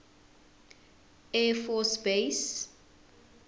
air force base